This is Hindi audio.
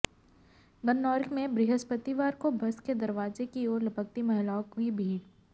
गन्नौर में बृहस्पतिवार को बस के दरवाजे की ओर लपकती महिलाओं की भीड़